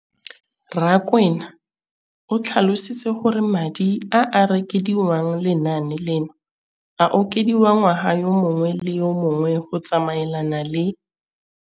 Rakwena o tlhalositse gore madi a a dirisediwang lenaane leno a okediwa ngwaga yo mongwe le yo mongwe go tsamaelana le